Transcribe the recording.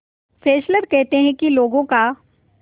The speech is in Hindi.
फेस्लर कहते हैं कि लोगों का